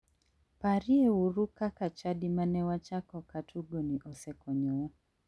Parieuru kaka chadi mane wachako ka tugoni osekonyowa.